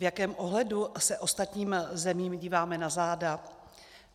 V jakém ohledu se ostatním zemím díváme na záda?